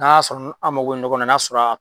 N'an y'a sɔrɔ an mako be nin nɔgɔ na , n'a sɔrɔ